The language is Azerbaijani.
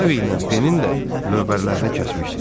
Harveylə Penin də lövbərlərini kəsmişdilər.